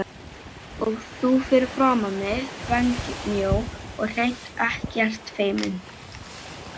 Og þú fyrir framan mig þvengmjó og hreint ekkert feimin.